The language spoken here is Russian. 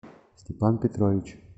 степан петрович